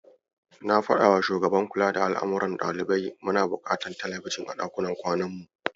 Na faɗawa shugaban kula da al'amuran ɗalibai muna buƙatar telebijin a ɗakunan kwanan mu.